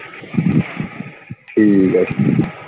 ਠੀਕ ਆ ਠੀਕ ਆ।